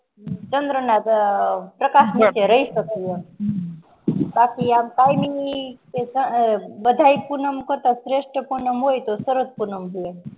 ચન્દ્ર ના પ્રકાશ નીચે રહી શકે બાકી આમ કાય ની બધા પૂનમ કરતા શ્રેષ્ટ પૂનમ હોય તો શરદ પૂનમ